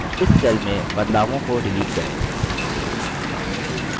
इस cell में बदलावों को डिलीट करें